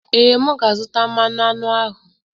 Ee, m ga-azụta mmanụ aṅụ ahụ.